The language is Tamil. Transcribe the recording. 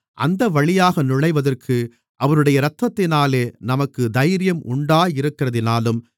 அந்தவழியாக நுழைவதற்கு அவருடைய இரத்தத்தினாலே நமக்குத் தைரியம் உண்டாயிருக்கிறதினாலும்